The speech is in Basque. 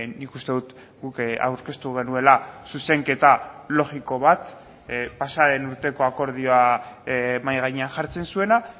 nik uste dut guk aurkeztu genuela zuzenketa logiko bat pasa den urteko akordioa mahai gainean jartzen zuena